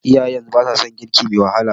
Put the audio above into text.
Iyayen yanzu ba sa son girki me wahala.